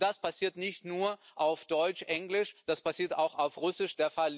Das passiert nicht nur auf Deutsch oder Englisch, das passiert auch auf Russisch.